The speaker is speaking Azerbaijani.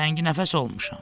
Təngnəfəs olmuşam.